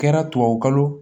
Kɛra tubabukalo